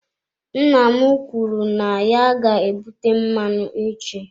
Nna m kwuru na ya ga-ebute mmanụ echi.